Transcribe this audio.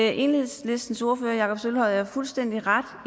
enhedslistens ordfører jakob sølvhøj har fuldstændig ret